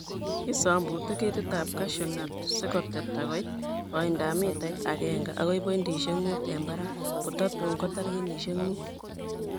Kisombute ketitab cashew nut sikoteta koit koindap mitait akenke akoi pointisiek mut en barak kototun kotar kenyisiek mut.